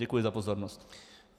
Děkuji za pozornost.